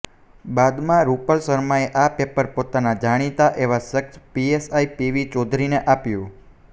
બાદમાં રૂપલ શર્માએ આ પેપર પોતાના જાણીતા એવા શખ્સ પીએસઆઈ પીવી ચૌધરીને આપ્યું હતું